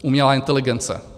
Umělá inteligence.